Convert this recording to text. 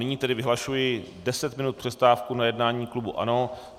Nyní tedy vyhlašuji 10 minut přestávku na jednání klubu ANO.